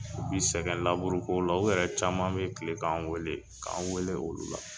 U bɛ sɛgɛn laburu kow la. U yɛrɛ caman bɛ kile k'an wele, k'an wele olu la.